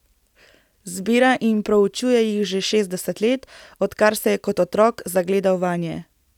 Zbira in proučuje jih že šestdeset let, odkar se je kot otrok zagledal vanje.